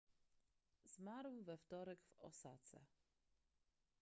zmarł we wtorek w osace